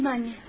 Gedəlim, anne.